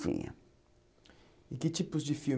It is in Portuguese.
Tinha E que tipos de